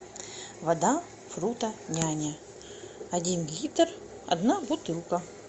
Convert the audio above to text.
вода фрутоняня один литр одна бутылка